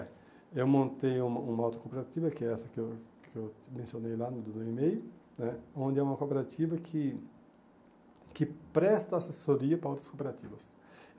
É, eu montei uma uma outra cooperativa, que é essa que eu que eu mencionei lá no e-mail né, onde é uma cooperativa que que presta assessoria para outras cooperativas.